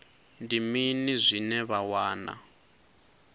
ndi mini zwine vha wana